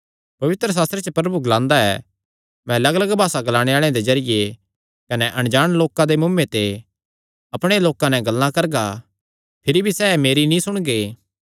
पवित्रशास्त्रे च प्रभु ग्लांदा ऐ मैं लग्गलग्ग भासा ग्लाणे आल़ेआं दे जरिये कने अणजाण लोकां दे मुँऐ ते अपणे लोकां नैं गल्लां करगा भिरी भी सैह़ मेरी नीं सुणगे